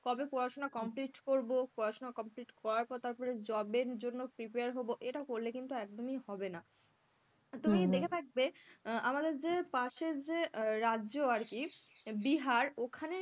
কবে পড়াশোনা complete করবো, পড়াশোনা complete করার পর তারপরে job এর জন্য prepare হবো, এটা করলে কিন্তু একদমই হবে না তুমি দেখে থাকবে আহ আমাদের যে পাশের যে রাজ্য আরকি বিহার ওখানে,